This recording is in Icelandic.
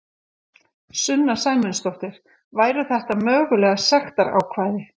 Sunna Sæmundsdóttir: Væru þetta mögulega sektarákvæði?